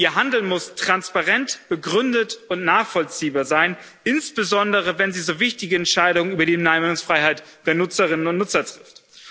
Ihr Handeln muss transparent, begründet und nachvollziehbar sein, insbesondere wenn sie so wichtige Entscheidungen über die Meinungsfreiheit der Nutzerinnen und Nutzer trifft.